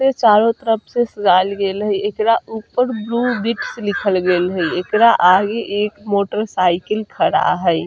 ए चारो तरफ से सजायल गइल हेय एकरा ऊपर ब्लू बीट्स लिखल गइल हेय एकरा आगे एक मोटर साइकिल खड़ा हेय।